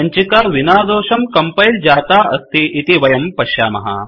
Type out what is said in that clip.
सञ्चिका विनादोषं कंपैल जाता अस्ति इति वयं पश्यामः